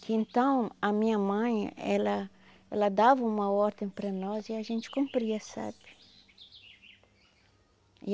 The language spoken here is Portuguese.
Que então a minha mãe, ela ela dava uma ordem para nós e a gente cumpria, sabe?